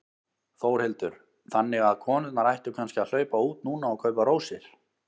Þórhildur: Þannig að konurnar ættu kannski að hlaupa út núna og kaupa rósir?